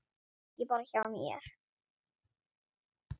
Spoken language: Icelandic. Og ekki bara hjá mér.